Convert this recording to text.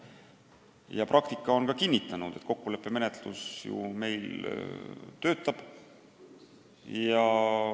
Ja praktika on ka kinnitanud, et kokkuleppemenetlus meil töötab.